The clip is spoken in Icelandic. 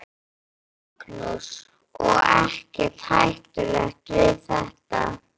Magnús: Og ekkert hættulegt við þetta?